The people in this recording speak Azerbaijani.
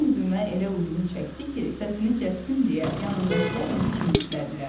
Bu zümzümə elə uzun çəkdi ki, səsini kəssin deyə yanındakılar onu çimdiklədilər.